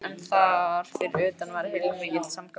En þar fyrir utan var heilmikill samgangur.